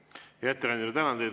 Hea ettekandja, ma tänan teid.